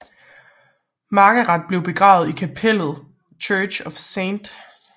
Margaret blev begravet i kapellet Church of St